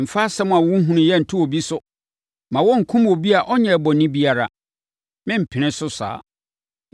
Mfa asɛm a wonhunuiɛ nto obi so; mma wɔnkum obi a ɔnyɛɛ bɔne biara. Merempene so saa.